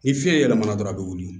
Ni fiɲɛ yɛlɛma na dɔrɔn a be wuli